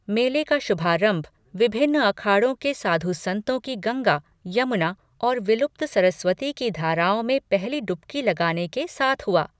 मेले का शुभारंभ विभिन्न अखाड़ों के साधु संतों की गंगा, यमुना और विलुप्त सरस्वती की धाराओं में पहली डुबकी लगाने के साथ हुआ।